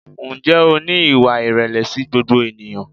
Ǹjẹ́ o ní ìwà ìrẹ̀lẹ̀ sí gbogbo ènìyàn?